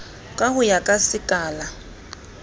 ka ho ya ka sekala